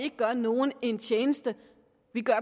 ikke gør nogen en tjeneste